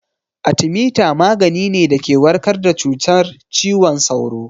Atemita magani ne da ke warkar da cutar ciwon sauro